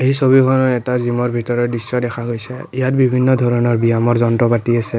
এই ছবিখনত এটা জিমৰ ভিতৰৰ দৃশ্য দেখা গৈছে ইয়াত বিভিন্ন ধৰণৰ বিয়ামৰ যন্ত্ৰ পাতি আছে।